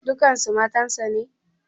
Dukkansu matansa ne?